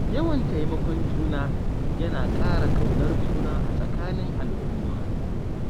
Yawan taimakon juna, yana ƙara ƙaunar juna a tsakanin al'umma.